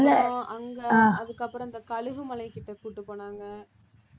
அப்புறம் அங்க அதுக்கப்புறம் இந்த கழுகுமலை கிட்ட கூட்டிட்டு போனாங்க